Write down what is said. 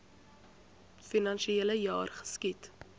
finansiele jaar geskied